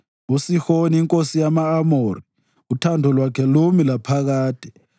uSihoni inkosi yama-Amori, uthando lwakhe lumi laphakade,